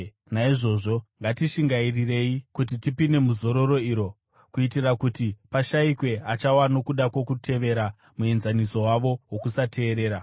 Naizvozvo ngatishingairirei kuti tipinde muzororo iro, kuitira kuti pashayikwe achawa nokuda kwokutevera muenzaniso wavo wokusateerera.